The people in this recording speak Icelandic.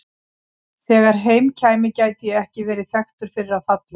Þegar heim kæmi gæti ég ekki verið þekktur fyrir að falla.